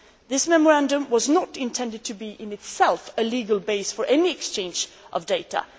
This memorandum was not intended to be, in itself, a legal base for any exchange of data.